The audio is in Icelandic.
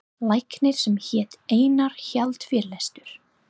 Læknir sem hét Einar hélt fyrirlestur.